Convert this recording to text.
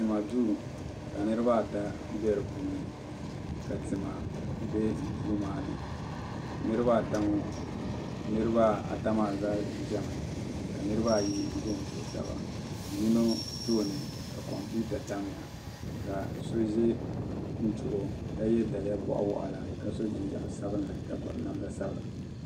Tima duu ka niriba ata bɛ di puuni ka tima bɛ duu maa ni niriba ata maa zaa ʒɛmi ka niriba ayi ʒɛ n tuhi taba yino tooni ka kompiwta tam ya ka so ʒɛ n tuhi o ka yɛ daliya bɔɣa waɣila ka so jinjam sabinli ka gbubi namda sabila.